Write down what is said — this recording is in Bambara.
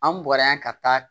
An bɔra yan ka taa